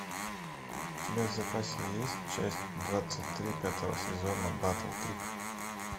у тебя в запасе есть часть двадцать три пятого сезона батл крик